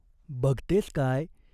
बघतेस काय ?